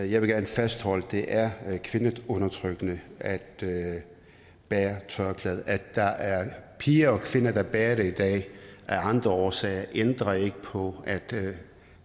jeg vil gerne fastholde at det er kvindeundertrykkende at bære tørklæde at der er piger og kvinder der bærer det i dag af andre årsager ændrer ikke på at